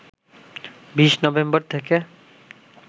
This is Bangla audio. ২০ নভেম্বর থেকে